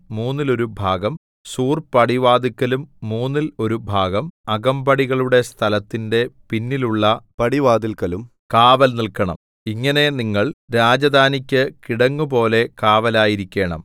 മൂന്നിൽ ഒരു ഭാഗം സൂർപടിവാതില്ക്കലും മൂന്നിൽ ഒരു ഭാഗം അകമ്പടികളുടെ സ്ഥലത്തിന്റെ പിന്നിലുള്ള പടിവാതില്‍ക്കലും കാവൽ നില്‍ക്കണം ഇങ്ങനെ നിങ്ങൾ രാജധാനിക്ക് കിടങ്ങുപോലെ കാവലായിരിക്കേണം